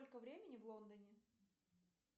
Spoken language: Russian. сколько времени в лондоне